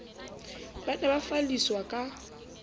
ba ne ba falliswa ka